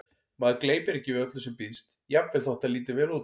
Maður gleypir ekki við öllu sem býðst, jafnvel þótt það líti vel út